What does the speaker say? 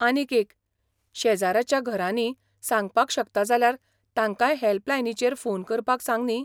आनीक एक, शेजराच्या घरांनी सांगपाक शकता जाल्यार तांकांय हॅल्पलायनीचेर फोन करपाक सांग न्ही.